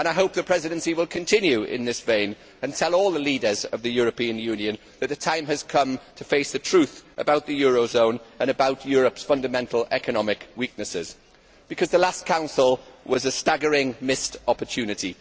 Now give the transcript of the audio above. I hope the Presidency will continue in this vein and tell all the leaders of the European Union that the time has come to face the truth about the eurozone and about Europe's fundamental economic weaknesses, because the last Council was a staggering missed opportunity.